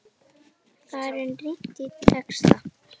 Þar er rýnt í texta.